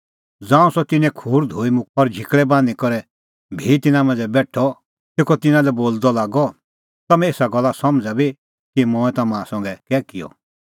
ज़ांऊं सह तिन्नें खूर धोई मुक्कअ और झिकल़ै बान्हीं करै भी तिन्नां मांझ़ै बेठअ तेखअ तिन्नां लै बोलदअ लागअ तम्हैं एसा गल्ला समझ़ै बी कि मंऐं तम्हां संघै कै किअ